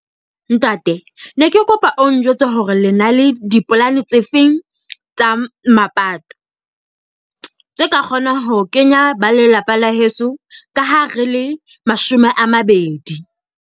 Ntate, ne ke kopa o njwetse hore le na le dipolane tse feng tsa mapato. Tse ka kgona ho kenya ba lelapa la heso, ka ha re le mashome a mabedi.